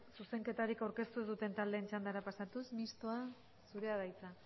zuzenketarik aurkeztu ez duten taldeen txandara pasatuz mistoa zurea da hitza